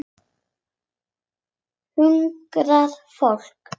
Hungrað fólk.